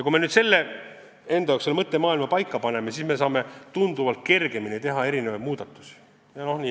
Kui me enda jaoks selle mõttemaailma paika paneme, siis saame tunduvalt kergema südamega muudatusi ette võtta.